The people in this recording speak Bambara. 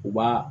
U b'a